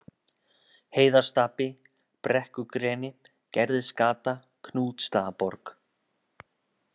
Heiðarstapi, Brekkugreni, Gerðisgata, Knútsstaðaborg